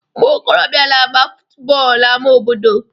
Umuokorobia n'agba futu bọọlụ n'ama obodo